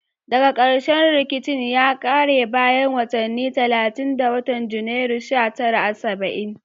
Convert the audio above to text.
Daga karshe rikicin ya kare bayan watanni talatin a watan Janairu sha tara saba'in